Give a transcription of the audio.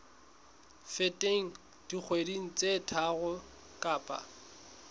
feteng dikgwedi tse tharo kapa